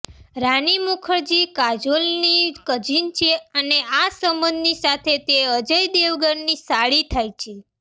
રાની મુખર્જી કાજોલની કઝીન છે અને આ સંબંધ સાથે તે અજય દેવગનની સાળી થાય છે